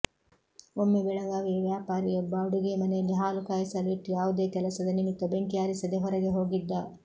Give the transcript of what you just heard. ಒಮ್ಮೆ ಬೆಳಗಾವಿಯ ವ್ಯಾಪಾರಿಯೊಬ್ಬ ಅಡುಗೆ ಮನೆಯಲ್ಲಿ ಹಾಲು ಕಾಯಿಸಲು ಇಟ್ಟು ಯಾವುದೋ ಕೆಲಸದ ನಿಮಿತ್ತ ಬೆಂಕಿ ಆರಿಸದೆ ಹೊರಗೆ ಹೋಗಿದ್ದ